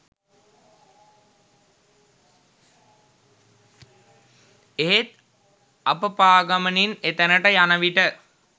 එහෙත් අප පා ගමනින් එතැනට යන විට